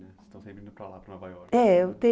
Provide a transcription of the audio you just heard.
né? Vocês estão sempre indo para lá, para Nova Iorque. É, eu te